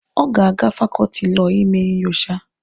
Ọ ga-aga na fakọọtị Lọọ ime nyocha.